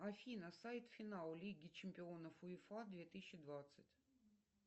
афина сайт финал лиги чемпионов уефа две тысячи двадцать